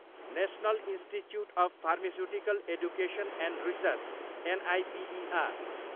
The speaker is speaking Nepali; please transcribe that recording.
national institute of pharmaceutical education and research, NIPER